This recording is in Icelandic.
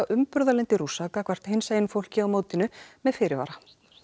umburðarlyndi Rússa gagnvart hinsegin fólki á mótinu með fyrirvara